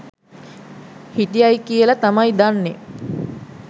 හිටියයි කියල තමයි දන්නෙ.